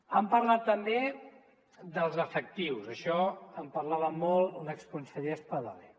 han parlat també dels efectius d’això en parlava molt l’exconseller espadaler